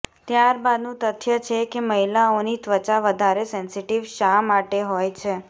ત્યાર બાદનું તથ્ય છે કે મહિલાઓની ત્વચા વધારે સેન્સીટીવ શા માટે હોય છે